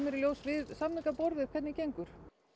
í ljós við samningaborðið hvernig gengur